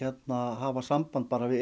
hafa samband bara við